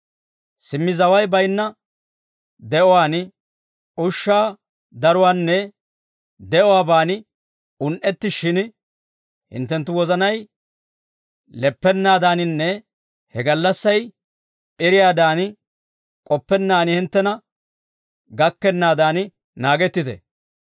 Simmi zaway baynna de'uwaan, ushshaa daruwaanne de'uwaaban un"ettishshin hinttenttu wozanay leppennaadaninne he gallassay p'iriyaadan k'oppennaan hinttena gakkennaadan naagettite;